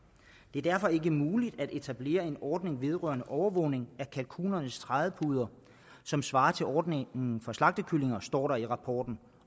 er derfor ikke muligt at etablere en ordning vedrørende overvågning af kalkunernes trædepuder som svarer til ordningen for slagtekyllinger står der i rapporten